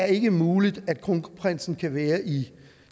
ikke er muligt at kronprinsen kan være i